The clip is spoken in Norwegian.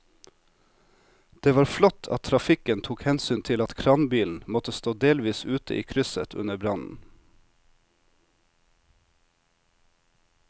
Det var flott at trafikken tok hensyn til at kranbilen måtte stå delvis ute i krysset under brannen.